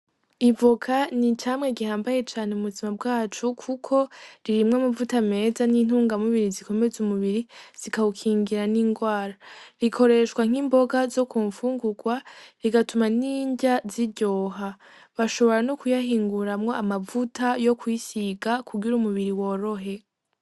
Ivoka n'icamwa gihambaye cane mubuzima bwacu kuko ririmwo amavuta meza n'intunga mubiri zikomeza umubiri zikawukingira n'ingwara, ikoreshwa nk'imboga zokumfungugwa bigatuma n'inrya ziryoha; bashobora nokuyahinguramwo amavuta yokwisiga kugira umubiri worohe.